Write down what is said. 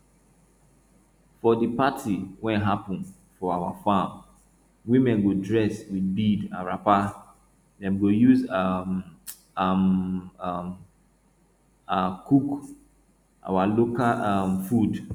for di party wey happun for our farm women go dress with bead and wrapper dem go use um am um am cook our local um food